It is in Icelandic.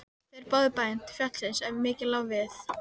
Þeir báðu bæn til fjallsins ef mikið lá við.